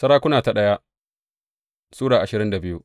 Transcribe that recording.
daya Sarakuna Sura ashirin da biyu